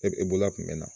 E bolo kun bɛ na